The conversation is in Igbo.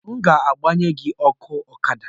m ga-gbanyere gị ọkụ Ọkada